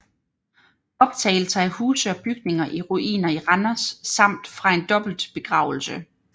Optagelser af huse og bygninger i ruiner i Randers samt fra en dobbeltbegravelse